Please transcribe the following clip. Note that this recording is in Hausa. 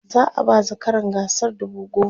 za'a ba zakaran gasar dubu goma